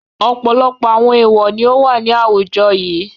Ọ̀pọ̀lọpọ̀ àwọn èèwọ̀ ni ó wà ní àwùjọ yìí.